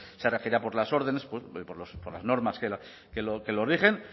se regirá por las órdenes por las normas que lo rigen